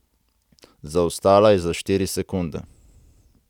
Zaostala je za štiri sekunde.